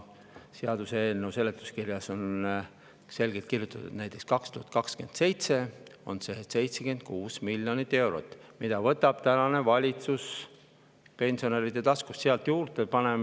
Seaduseelnõu seletuskirjas on ka selgelt kirjutatud, et 2027. aastal on 76 miljonit eurot, mille võtab valitsus pensionäride taskust.